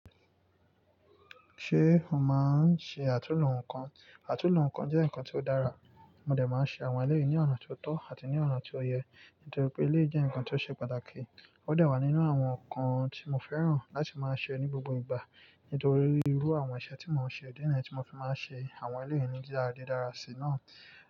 Ṣé o máa ń ṣe àtúnlo nǹkan? Àtúnlo nǹkan jẹ́ nǹkan tí ó dára, mo dẹ máa ń ṣe àwọn eléyìí ní ọ̀nà tí ó tọ́ àti ní ọ̀nà tí ó yẹ, nítorí pé eléyìí jẹ́ nǹkan tí ó ṣe pàtàkì. Ó dẹ wà nínú àwọn nǹkan tí mo fẹ́ràn láti máa ṣe ní gbogbo ìgbà, nítorí irú àwọn iṣẹ́ tí mò ń ṣe ìdí nìyẹn tí mo fi máa ń ṣe àwọn eléyìí ní dídára dídára sí náà.